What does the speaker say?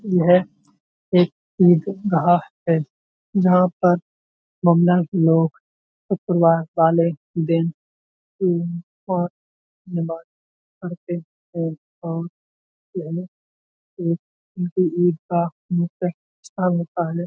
यह एक ईदगाह है जहाँ पर मुंडन लोग शुक्रवार वाले दिन नमाज़ पढ़ते हैं और ईदगाह स्थान होता है।